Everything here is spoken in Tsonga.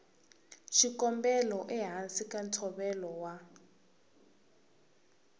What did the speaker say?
xikombelo ehansi ka ntshovelo wa